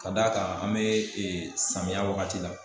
Ka d'a kan an bɛ samiya wagati la